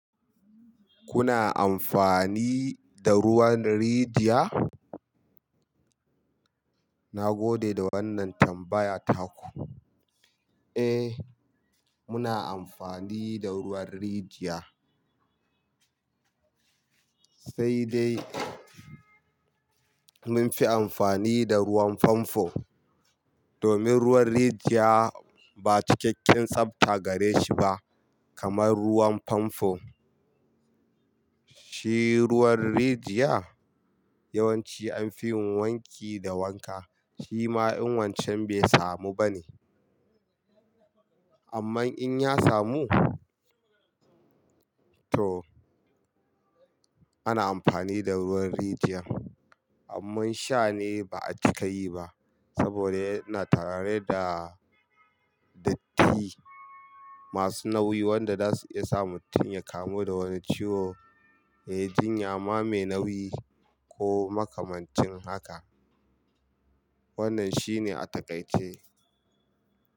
Kuna amfani da ruwan rijiya? Na gode da wannan tambaya taku. Eh, muna amfani da ruwan rijiya. Sai dai mun fi amfani da ruwan famfo domin ruwan rijiya ba cikakken tsabta gare shi ba kamar ruwan famfo. Shi ruwan rijiya yawanci anfi yin wanki da wanka. Shi ma in wancan bai samu ba ne. Amman in ya samu to ana amfani da ruwan rijiyan. Amman sha ne ba a cika yi ba saboda yana tare da datti masu nauyi wanda dasu iya sa mutum ya kamu da wani ciwo, ya yi jinya ma mai nauyi ko makamancin haka. Wannan shine a takaice.